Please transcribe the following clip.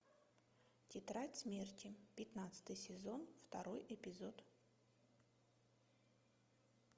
тетрадь смерти пятнадцатый сезон второй эпизод